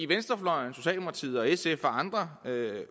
venstrefløjen socialdemokratiet sf og andre